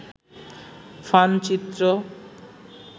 fun চিত্র